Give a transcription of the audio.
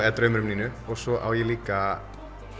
eða draumur um Nínu og svo á ég líka